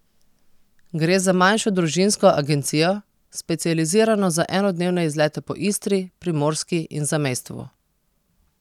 Gre za manjšo družinsko agencijo, specializirano za enodnevne izlete po Istri, Primorski in zamejstvu.